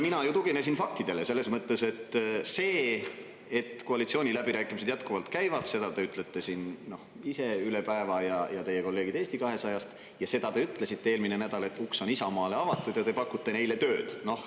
Mina ju tuginesin faktidele selles mõttes, et see, et koalitsiooniläbirääkimised jätkuvalt käivad, seda te ütlete siin ise üle päeva ja teie kolleegid Eesti 200-st ja seda te ütlesite eelmine nädal, et uks on Isamaale avatud ja te pakute neile tööd.